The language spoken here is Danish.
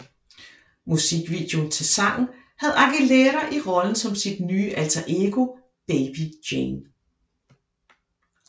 Musikvideoen til sangen havde Aguilera i rollen som sit nye alter ego Baby Jane